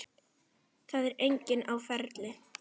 Það er enginn á ferli.